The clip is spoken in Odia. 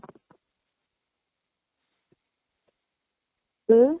ହୁଁ?